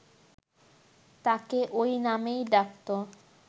তাঁকে ঐ নামেই ডাকত